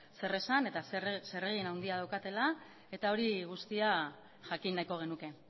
zeresan eta zeregin handia daukatela eta hori guztia jakin nahiko genuke